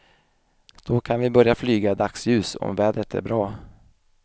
Då kan vi börja flyga i dagsljus om vädret är bra.